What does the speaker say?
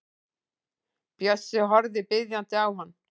Bjössi horfir biðjandi á hann.